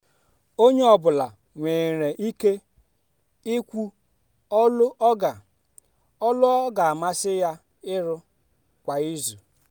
onye ọ bụla nwere ike ikwu ọlụ ọ ga ọ ga amasị ya ịrụ kwa izu.